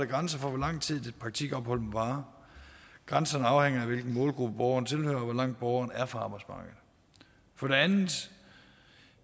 grænser for hvor lang tid et praktikophold må vare grænsen afhænger af hvilken målgruppe borgeren tilhører og hvor langt borgeren er fra arbejdsmarkedet for det andet